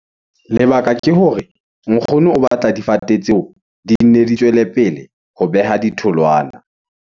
Lebaka ke hore nkgono o batla difate tseo di nne di tswele pele ho beha ditholwana.